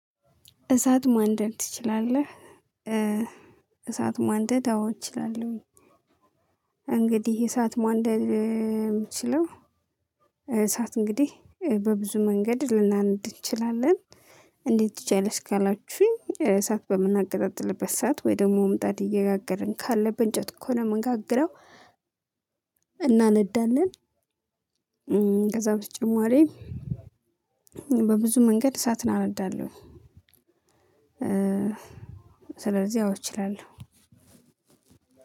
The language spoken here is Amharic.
እሳት ማንደድ ትችላለህ? እሳት ማንደድ አዎ እችላለሁኝ። እንግዲህ እሳት ማንደድ የምችለው እሳት እንግዲህ በብዙ መንገድ ልናነድ እንችላለን። እንዴት ትችያለሽ ካላችሁኝ፣ እሳት በምናገቀጣጥልበት ሰዓት ወይ ደግሞ ምጣድ እየጋገርን ካለ፣ በእንጨት ከሆነ የምንጋግረው፣ እናነዳለን። ከዛው በተጨማሪ በብዙ መንገድ እሳት አነዳለሁኝ። ስለዚህ አዎ እችላለሁ።